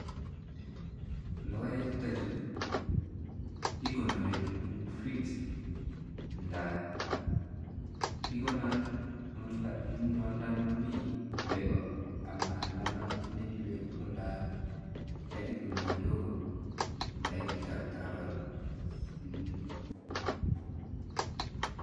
Logoek chutokchu kekonori eng fridge nda ikonor eng ole momi beeko ama lalang, indeni oldo ne kaitit kole kidogo nda ituuch ak takalkal[mmh].